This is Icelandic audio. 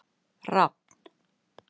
Rafn